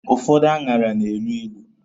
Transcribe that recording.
Ụfọdụ aṅara na-elu ilu.